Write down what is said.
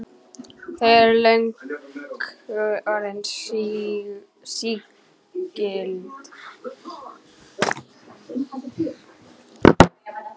Þau eru löngu orðin sígild.